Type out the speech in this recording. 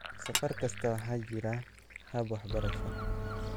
Safar kasta, waxaa jira hab-waxbarasho."